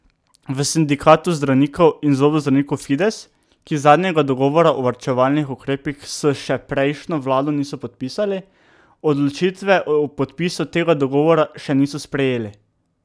V sindikatu zdravnikov in zobozdravnikov Fides, ki zadnjega dogovora o varčevalnih ukrepih s še prejšnjo vlado niso podpisali, odločitve o podpisu tega dogovora še niso sprejeli.